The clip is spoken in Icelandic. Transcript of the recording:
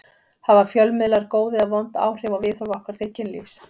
Hafa fjölmiðlar góð eða vond áhrif á viðhorf okkar til kynlífs?